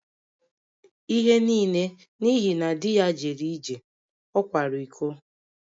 Ihe niile n’ihi na di ya jere ije, ọ kwara iko